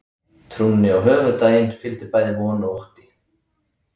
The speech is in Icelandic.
Trúnni á höfuðdaginn fylgdi bæði von og ótti.